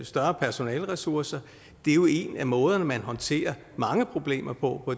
større personaleressource det er jo en af måderne man håndterer mange problemer på